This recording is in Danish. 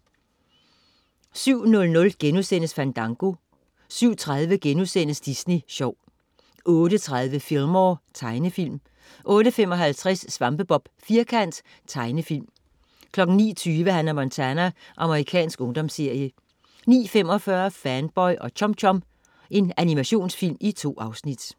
07.00 Fandango* 07.30 Disney Sjov* 08.30 Fillmore. Tegnefilm 08.55 SvampeBob Firkant. Tegnefilm 09.20 Hannah Montana. Amerikansk ungdomsserie 09.45 Fanboy og Chum Chum. Animationsfilm. 2 afsnit